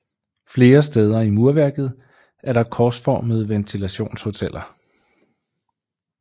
Flere steder i murværket er der korsformede ventilationsholler